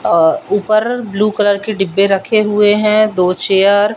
ऊपर blue colour के डिब्बे रखे हुए हैं दो चेयर --